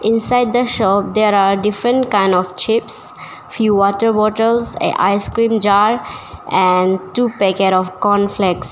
Inside the shop there are different kind of chips few water bottles Ice cream jar and two packet of cornflex.